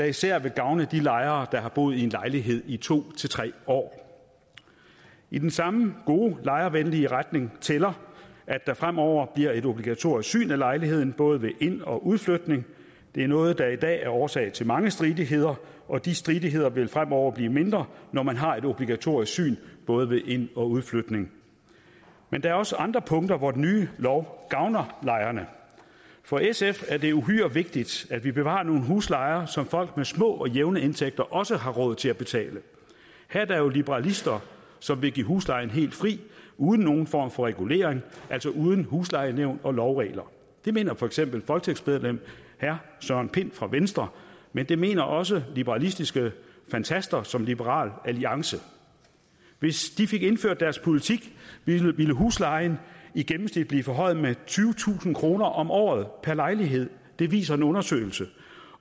især vil gavne de lejere der har boet i en lejlighed i to tre år i den samme gode lejervenlige retning tæller at der fremover bliver et obligatorisk syn af lejligheden både ved ind og udflytning det er noget der i dag er årsag til mange stridigheder og de stridigheder vil fremover blive mindre når man har et obligatorisk syn både ved ind og udflytning men der er også andre punkter hvor den nye lov gavner lejerne for sf er det uhyre vigtigt at vi bevarer nogle huslejer som folk med små og jævne indtægter også har råd til at betale her er der jo liberalister som vil give huslejen helt fri uden nogen form for regulering altså uden huslejenævn og lovregler det mener for eksempel folketingsmedlem herre søren pind fra venstre men det mener også liberalistiske fantaster som dem i liberal alliance hvis de fik indført deres politik ville huslejen i gennemsnit blive forhøjet med tyvetusind kroner om året per lejlighed det viser en undersøgelse